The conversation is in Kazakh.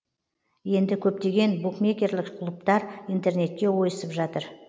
енді көптеген букмекерлік клубтар интернетке ойысып жатыр